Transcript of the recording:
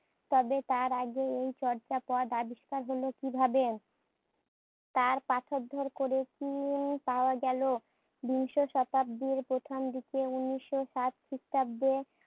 তবে টার আগে এই চর্যাপদআবিষ্কার হোল কিভাবে, তার পাঠউদ্ধার করে কি পাওয়া গেলো? বিংশ শতাব্দীর প্রথম দিকে উনিশ্য সাত খ্রিস্টাব্দে